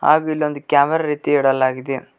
ಹಾಗು ಇಲ್ಲಿ ಒಂದು ಕ್ಯಾಮೆರ ರೀತಿ ಇಡಲಾಗಿದೆ.